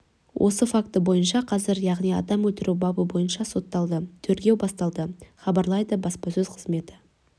осы факті бойынша қазір яғни адам өлтіру бабы бойынша соталды тергеу басталды хабарлайды баспасөз қызметі